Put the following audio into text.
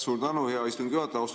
Suur tänu, hea istungi juhataja!